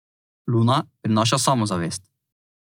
Luna prinaša samozavest.